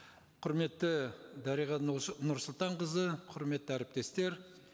құрметті дариға нұрсұлтанқызы құрметті әріптестер